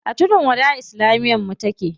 A tudun wada islamiyar mu take.